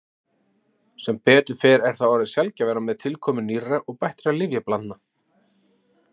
Sem betur fer er það orðið sjaldgæfara með tilkomu nýrra og bættra lyfjablandna.